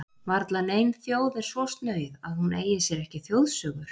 Varla nein þjóð er svo snauð að hún eigi sér ekki þjóðsögur.